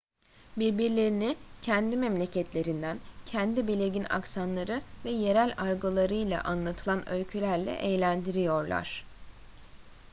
birbirlerini kendi memleketlerinden kendi belirgin aksanları ve yerel argolarıyla anlatılan öykülerle eğlendiriyorlar